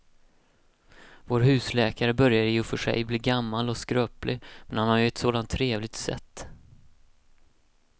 Vår husläkare börjar i och för sig bli gammal och skröplig, men han har ju ett sådant trevligt sätt!